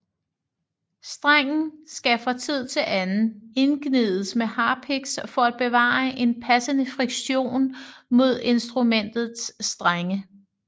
Strengen skal fra tid til anden indgnides med harpiks for at bevare en passende friktion mod instrumentets strenge